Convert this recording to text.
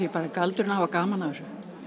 galdurinn að hafa gaman að þessu